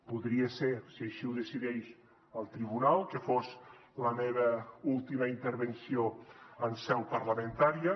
podria ser si així ho decideix el tribunal que fos la meva última intervenció en seu parlamentària